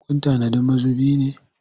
Kun tanadi mazubi ne?